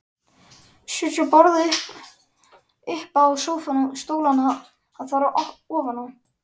Setja borðið uppá sófann og stólana þar ofaná.